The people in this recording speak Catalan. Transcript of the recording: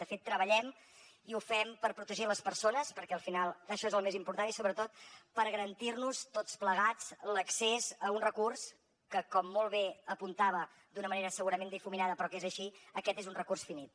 de fet treballem i ho fem per protegir les persones perquè al final això és el més important i sobretot per garantir nos tots plegats l’accés a un recurs que com molt bé apuntava d’una manera segurament difuminada però que és així aquest és un recurs finit